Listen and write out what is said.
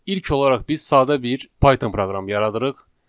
İlk olaraq biz sadə bir Python proqramı yaradırıq.